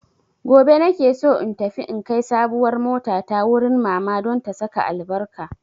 Gobe na ke so in tafi in kai sabuwar motata wurin mamata don ta saka albarka.